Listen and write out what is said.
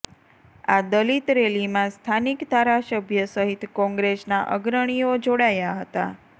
આ દલિત રેલીમાં સ્થાનિક ધારાસભ્ય સહિત કોંગ્રેસના અગ્રણીઓ જોડાયા હતા